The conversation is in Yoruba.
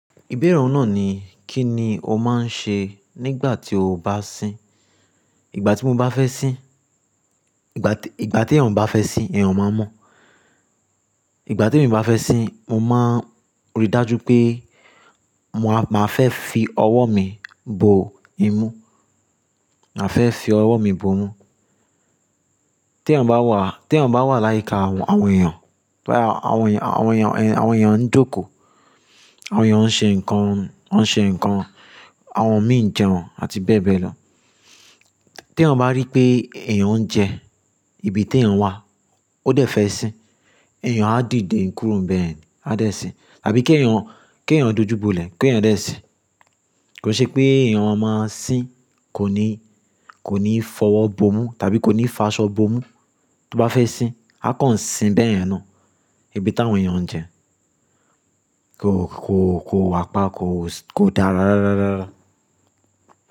Ìbéèrè ọ̀un nàa ni, kí ni o máa ń ṣe nígbà tí o bá sín? Ìgbà tí mo bá fẹ́ sín, ìgbà tí èèyàn bá fẹ́ sín, èèyàn máa n mọ̀. Ìgbà tí èmi bá fẹ́ sín, mo máa ríi dájú pé màá fẹ́ fi ọwọ́ mi bo imú, màá fẹ́ fi ọwọ́ mi bo mú. Tí èèyàn bá wà, tí èèyàn bá wà láyìíka àwọn èèyàn, bí àwọn èèyàn ń jóko, àwọn èèyàn ń ṣe ǹkan, wọn se ǹkan, àwọn mi ń jẹun àti bẹ́ẹ̀ bẹ́ẹ̀ lọ. Tí èèyàn bá ríi pé èèyàn ń jẹ ibi tí èèyàn wà, ó dẹ̀ fẹ́ sín, èèyàn á dìde ń kúrò bẹ́ẹ̀, á dẹ̀ sín. Tàbí kí èèyàn ki eeyan dojúbolẹ̀, kí èèyàn dẹ̀ sín. Kò ṣe pé èèyàn máa ma sín, kò ní fọwọ́ bo mú tàbí kò ní fàṣọ bo mú. Tó bá fẹ́ sín, á kàn sín bẹ́ẹ̀ yẹn náà. Ibi tí àwọn èèyàn ń jẹ, kò wàpá, kò dára rárá.